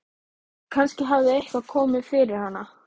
Kannski hafði eitthvað komið fyrir hana.